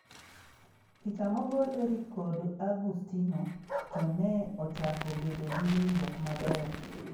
Picha mogol Erick kod Agustino to ne ochako bedo gi winjruok maber.